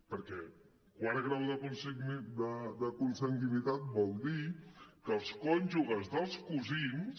perquè quart grau de consanguinitat vol dir que els cònjuges dels cosins